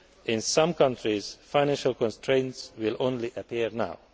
In some countries, financial constraints will only appear